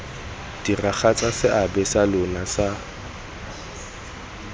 diragatsa seabe sa lona sa